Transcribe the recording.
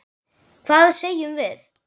Hvað segjum við?